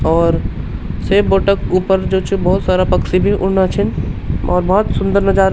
और से बोट क ऊपर जू छ बहौत सारा पक्षी भी उड़ना छिन और बहौत सुन्दर नजारा --